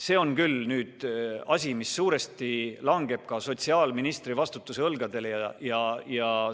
See on küll asi, mis suuresti langeb sotsiaalministri vastutusalasse, tema õlgadele.